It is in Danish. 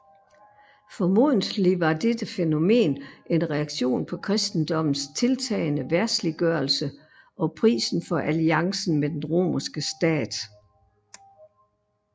Formodentlig var dette fænomen en reaktion på kristendommens tiltagende verdsliggørelse og prisen for alliancen med den romerske stat